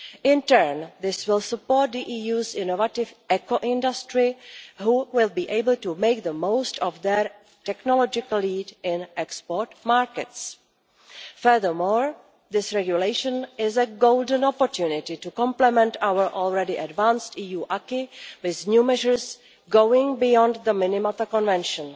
In turn, this will support the EU's innovative eco industry, which will be able to make the most of their technological lead in export markets. Furthermore, this regulation is a golden opportunity to complement our already advanced EU acquis with new measures going beyond the minimum of the Convention.